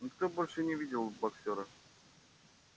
никто больше не видел боксёра